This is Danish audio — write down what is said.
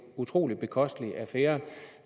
utrolig bekostelig affære